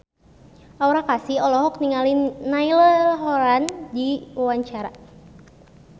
Aura Kasih olohok ningali Niall Horran keur diwawancara